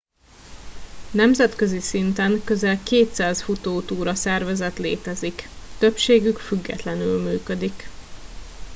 nemzetközi szinten közel 200 futótúra szervezet létezik többségük függetlenül működik